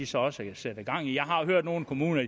så også sætter gang i det jeg har hørt nogle kommuner